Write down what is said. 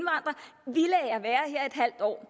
halv år